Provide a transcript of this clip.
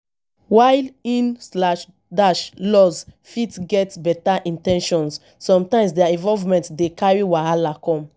while in-laws fit get better in ten tions sometimes their involvement dey carry wahala come